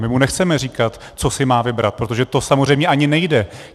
My mu nechceme říkat, co si má vybrat, protože to samozřejmě ani nejde.